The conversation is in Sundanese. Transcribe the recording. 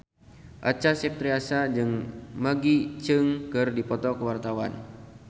Acha Septriasa jeung Maggie Cheung keur dipoto ku wartawan